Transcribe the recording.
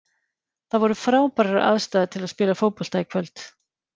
Það voru frábærar aðstæður til að spila fótbolta í kvöld.